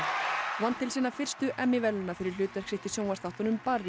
vann til sinna fyrstu verðlauna fyrir hlutverk sitt í sjónvarpsþáttunum